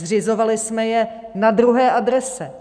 Zřizovali jsme je na druhé adrese.